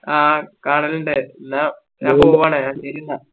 ആ കാണലിണ്ട് എന്നാ ഞാൻ പോവാണ് ഇറങ്ങിട്ടില്ല